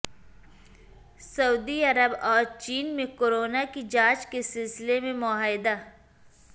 سعودی عرب اور چین میں کورونا کی جانچ کے سلسلے میں معاہدہ